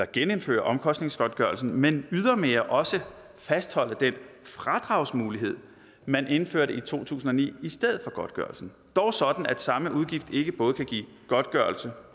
genindføre omkostningsgodtgørelsen men ydermere også fastholde den fradragsmulighed man indførte i to tusind og ni i stedet for godtgørelsen dog sådan at samme udgift ikke både kan give godtgørelse